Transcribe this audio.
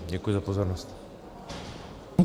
Děkuji za pozornost.